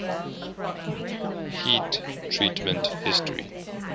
heat treatment history